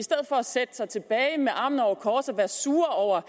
sætte sig tilbage med armene over kors og være sure over